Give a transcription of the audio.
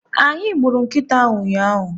Anyị gburu nkịta ahụ ụnyaahụ.